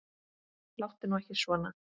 Láttu nú ekki svona.